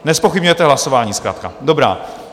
Nezpochybňujete hlasování zkrátka, dobrá.